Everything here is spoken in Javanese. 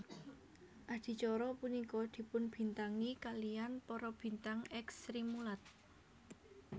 Adicara punika dipunbintangi kaliyan para bintang èks Srimulat